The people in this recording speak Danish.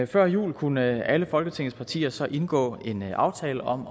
før jul kunne alle folketingets partier så indgå en aftale om